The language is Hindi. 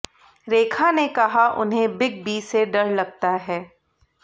रेखा ने कहा उन्हें बिग बी से डर लगता है